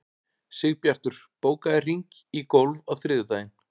Sigbjartur, bókaðu hring í golf á þriðjudaginn.